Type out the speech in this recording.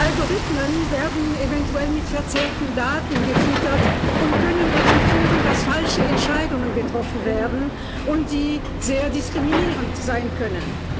Algorithmen werden eventuell mit verzerrten Daten gefüttert und können dazu führen, dass falsche Entscheidungen getroffen werden, die sehr diskriminierend sein können.